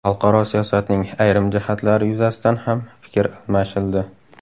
Xalqaro siyosatning ayrim jihatlari yuzasidan ham fikr almashildi.